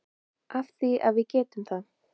Af því að við getum það.